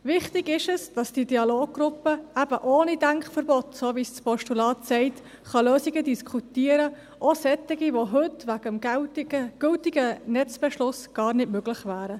Wichtig ist es, dass die Dialoggruppe eben ohne Denkverbote – wie es das Postulat sagt – Lösungen diskutieren kann, auch solche, die heute aufgrund des gültigen Netzbeschlusses gar nicht möglich wären.